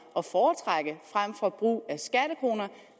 at foretrække frem for brug af skattekroner